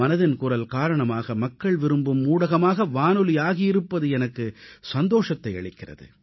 மனதின் குரல் காரணமாக மக்கள் விரும்பும் ஊடகமாக வானொலி மாறி இருப்பது எனக்கு சந்தோஷத்தை அளிக்கிறது